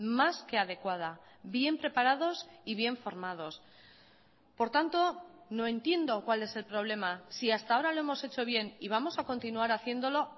más que adecuada bien preparados y bien formados por tanto no entiendo cuál es el problema si hasta ahora lo hemos hecho bien y vamos a continuar haciéndolo